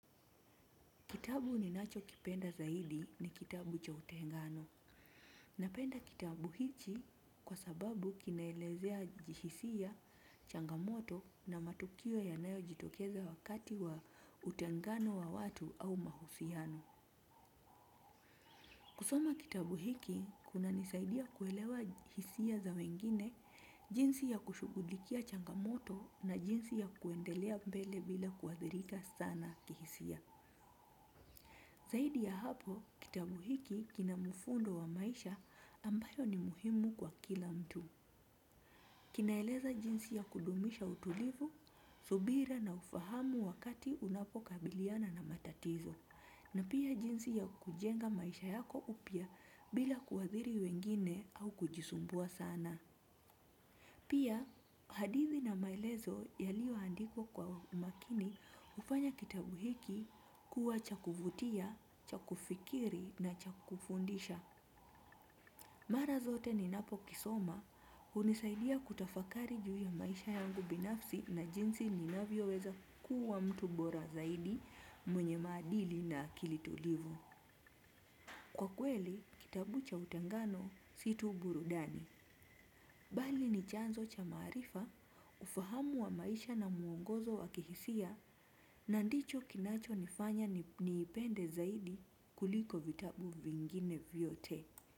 Kitabu ninacho kipenda zaidi ni kitabu cha utengano. Napenda kitabu hicho kwa sababu kinaelezea kihjsia changamoto na matukio yanayo jitokeza wakati wa utengano wa watu au mahusiano. Kusoma kitabu hiki, kuna nisaidia kuelewa hisia za wengine, jinsi ya kushughulikia changamoto na jinsi ya kuendelea mbele bila kuathirika sana kihisia. Zaidi ya hapo, kitabu hiki kina mfundo wa maisha ambayo ni muhimu kwa kila mtu. Kinaeleza jinsi ya kudumisha utulivu, subira na ufahamu wakati unapokabiliana na matatizo. Na pia jinsi ya kujenga maisha yako upya bila kuathiri wengine au kujisumbua sana. Pia, hadithi na maelezo yaliyoandikwa kwa makini hufanya kitabu hiki kuwa cha kuvutia, cha kufikiri na cha kufundisha. Mara zote ninapo kisoma, hunisaidia kutafakari juu ya maisha yangu binafsi na jinsi ninavyoweza kuwa mtu bora zaidi mwenye maadili na akili tulivu. Kwa kweli, kitabu cha utengano si tu burudani. Bali ni chanzo cha maarifa, ufahamu wa maisha na muongozo wakihisia na ndicho kinacho nifanya niipende zaidi kuliko vitabu vingine vyote.